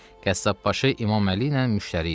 Qəssabbaşı İmam Əli ilə müştəri idi.